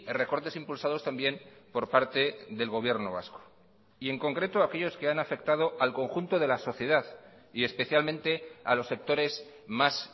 recortes impulsados también por parte del gobierno vasco y en concreto aquellos que han afectado al conjunto de la sociedad y especialmente a los sectores más